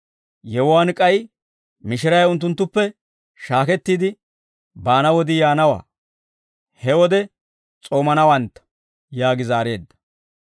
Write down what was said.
Yewuwaan k'ay mishiray unttunttuppe shaakettiide baana wodii yaanawaa; he wode s'oomanawantta» yaagi zaareedda.